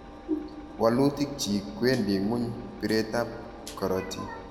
walutik chiik kwendi ngu'ny bireet ap karatiik.